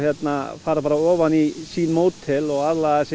fara ofan í sín módel og aðlaga